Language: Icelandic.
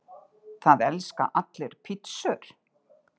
Það elska allir pizzur!